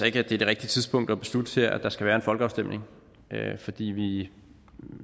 ikke at det er det rigtige tidspunkt her at beslutte at der skal være en folkeafstemning fordi vi